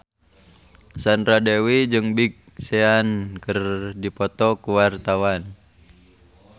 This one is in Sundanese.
Sandra Dewi jeung Big Sean keur dipoto ku wartawan